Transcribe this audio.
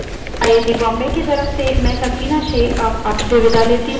अधिक जानकारी दिए गए link पर उपलब्ध है